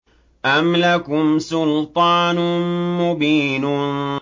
أَمْ لَكُمْ سُلْطَانٌ مُّبِينٌ